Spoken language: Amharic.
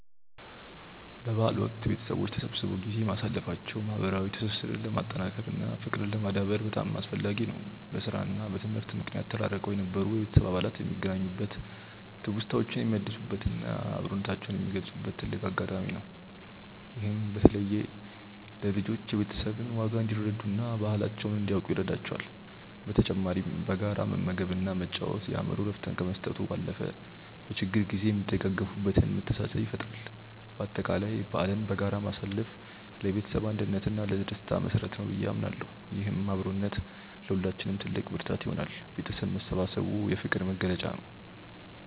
በበዓል ወቅት ቤተሰቦች ተሰብስበው ጊዜ ማሳለፋቸው ማህበራዊ ትስስርን ለማጠናከር እና ፍቅርን ለማዳበር በጣም አስፈላጊ ነው። በስራ እና በትምህርት ምክንያት ተራርቀው የነበሩ የቤተሰብ አባላት የሚገናኙበት፣ ትውስታዎችን የሚያድሱበት እና አብሮነታቸውን የሚገልጹበት ትልቅ አጋጣሚ ነው። ይህም በተለይ ለልጆች የቤተሰብን ዋጋ እንዲረዱ እና ባህላቸውን እንዲያውቁ ይረዳቸዋል። በተጨማሪም በጋራ መመገብ እና መጫወት የአእምሮ እረፍት ከመስጠቱ ባለፈ፣ በችግር ጊዜ የሚደጋገፉበትን መተሳሰብ ይፈጥራል። በአጠቃላይ በዓልን በጋራ ማሳለፍ ለቤተሰብ አንድነት እና ለደስታ መሰረት ነው ብዬ አምናለሁ። ይህም አብሮነት ለሁላችንም ትልቅ ብርታት ይሆናል። ቤተሰብ መሰባሰቡ የፍቅር መግለጫ ነው።